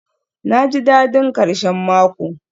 naji dadin karshen mako